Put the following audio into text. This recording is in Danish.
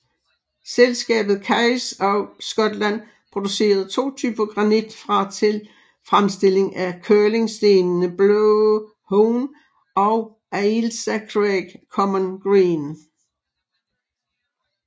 Selskabet Kays of Scotland producerede to typer granit fra til fremstilling af curlingstenene Blå Hone og Ailsa Craig Common Green